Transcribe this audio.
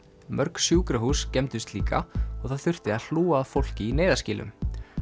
mörg sjúkrahús skemmdust líka og það þurfti að hlúa að fólki í neyðarskýlum